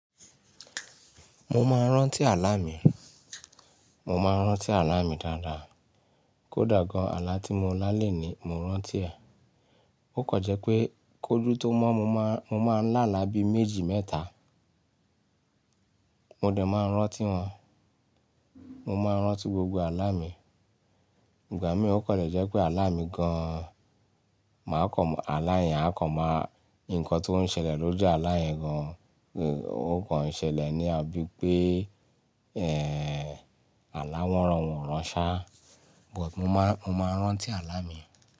Mo máa ń rántí àlá mi, mo máa ń rántí àlá mi dáadáa. Kódà gan-an àlá tí mo lá léni mo rántí ẹ̀. Ó kàn jẹ́ pé kójú tó mọ́ mo máa ń láàlá bí méjì mẹ́ta. Mo dẹ̀ máa ń rántí wọn. Mo máa ń rántí gbogbo àlá mi. Ìgbà mìíràn ó kàn le jẹ́ pé àlá mi gan-an máa kọ̀ máa àlá yẹn a kàn máa nǹkan tó ń ṣẹlẹ̀ lójú àlá yẹn gan-an, ó kàn ṣẹlẹ̀ ní àbí pé ẹ́ àlá wọn rọn wọ́n rán ṣa but mo máa ń, mo máa ń rántí àlá mi.